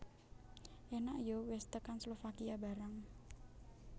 Enak yo wes tekan Slovakia barang